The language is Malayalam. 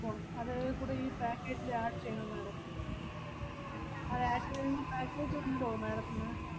പോണം അത് കൂടെ ഈ package ല് add ചെയ്യണം madam. അത് add ചെയ്യുമ്പോ package ഉണ്ടോ madam ത്തിന്?